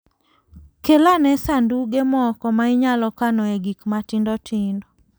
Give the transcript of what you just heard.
Kel ane sanduge moko ma inyalo kanoe gik matindo tindo.